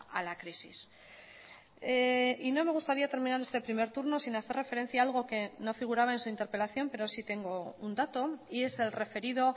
a la crisis y no me gustaría terminar este primer turno sin hacer referencia a algo que no figuraba en su interpelación pero sí tengo un dato y es el referido